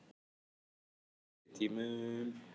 Á fyrri tímum.